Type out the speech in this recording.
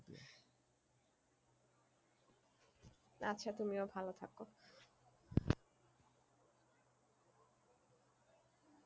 আচ্ছা তুমিও ভালো থাকো।